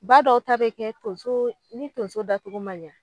Ba dɔw ta be kɛ tonso ni tonso da togo ma ɲa